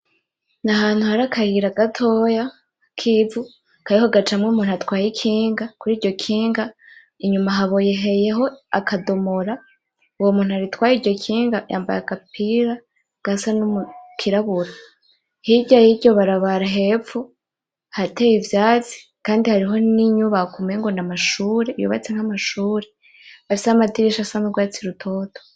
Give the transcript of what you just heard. Ni ahantu hari akayira gatoya kivu kariko gacamwo umuntu atwaye ikinga kuriryo kinga inyuma haboheyeho akadomora, uwo muntu atwaye iryo kinga yambara agapira gasa kirabura , hiryo yiryo barabara hepfo hateye ivyatsi kandi hariho n'inyubako umengo n'amashure y'ubatse nkamashure afise amadirisha asa n'urwatsi rutoto.